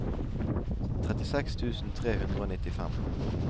trettiseks tusen tre hundre og nittifem